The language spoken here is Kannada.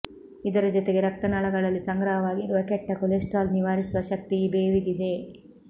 ಇದರ ಜೊತೆಗೆ ರಕ್ತನಾಳಗಳಲ್ಲಿ ಸಂಗ್ರಹವಾಗಿರುವ ಕೆಟ್ಟ ಕೊಲೆಸ್ಟ್ರಾಲ್ ನಿವಾರಿಸುವ ಶಕ್ತಿ ಈ ಬೇವಿಗಿದೆ